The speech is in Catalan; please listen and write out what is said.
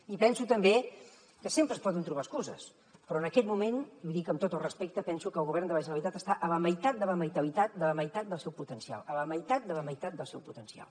i penso també que sempre es poden trobar excuses però en aquest moment l’hi dic amb tot el respecte penso que el govern de la generalitat està a la meitat de la meitat del seu potencial a la meitat de la meitat del seu potencial